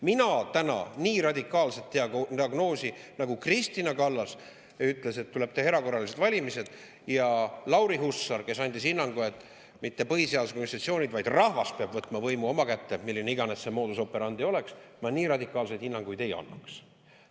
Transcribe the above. Mina täna nii radikaalset diagnoosi – nagu Kristina Kallas, kes ütles, et tuleb teha erakorralised valimised, ja Lauri Hussar, kes andis hinnangu, et mitte põhiseaduslikud institutsioonid, vaid rahvas peab võtma võimu enda kätte, milline iganes see modus operandi oleks –, ma nii radikaalseid hinnanguid ei annaks.